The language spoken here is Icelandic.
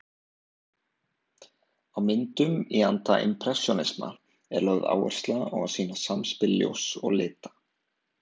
Á myndum í anda impressjónisma er lögð áhersla á að sýna samspil ljóss og lita.